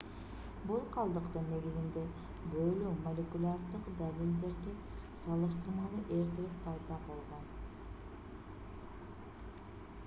бул калдыктын негизинде бөлүү молекулярдык далилдерге салыштырмалуу эртерээк пайда болгон